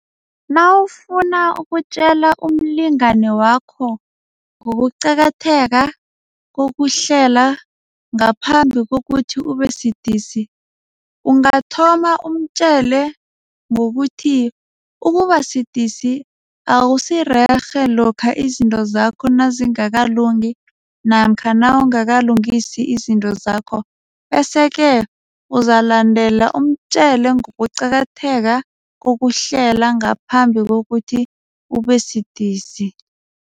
Nawufuna ukutjale umlingani wakho ngokuqakatheka kokuhlela ngaphambi kokuthi ubesidisi. Ungathoma umtjele ngokuthi ukubasidisi awusirerhe lokha izinto zakho ezingakalungi namkha nawungakalungisi izinto zakho bese-ke uzalandela umtjele ngokuqakatheka kokuhlela ngaphambi kokuthi ubesidisi.